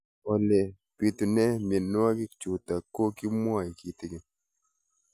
Ole pitune mionwek chutok ko kimwau kitig'�n